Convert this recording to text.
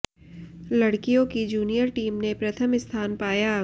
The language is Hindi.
लड़कियों की जूनियर टीम ने प्रथम स्थान पाया